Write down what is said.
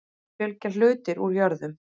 Þá fylgja hlutir úr jörðum.